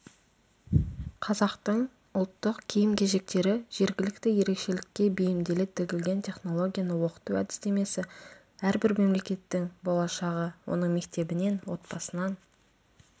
қазақтың ұлттық киім-кешектері жергілікті ерекшелікке бейімделе тігілген технологияны оқыту әдістемесі әрбір мемлекеттің болашағы оның мектебінен отбасынан